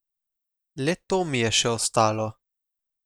Le to mi je še ostalo!